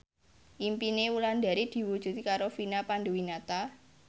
impine Wulandari diwujudke karo Vina Panduwinata